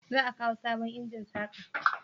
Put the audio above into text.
za a kawo sabon injin saka?